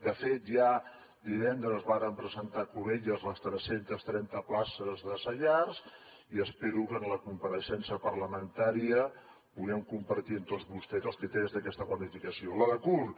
de fet ja divendres vàrem presentar a cubelles les tres cents i trenta places de saiar i espero que en la compareixença parlamentària puguem compartir amb tots vostès els criteris d’aquesta planificació la de curt